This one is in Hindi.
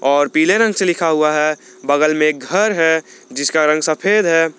और पीले रंग से लिखा हुआ है बगल में घर है जिसका रंग सफेद है।